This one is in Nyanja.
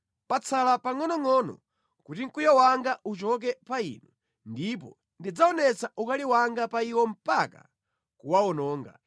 Patsala pangʼonongʼono kuti mkwiyo wanga uchoke pa inu ndipo ndidzaonetsa ukali wanga pa iwo mpaka kuwawononga.”